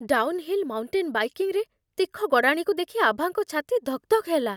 Down heel mountain ବାଇକିଂରେ ତୀଖ ଗଡ଼ାଣିକୁ ଦେଖି ଆଭାଙ୍କ ଛାତି ଧକ୍‌ଧକ୍ ହେଲା।